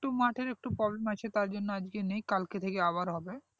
two মাঠের একটু problem ছিল তার জন্য আজ কে নেই কালকে থেকে আবার হবে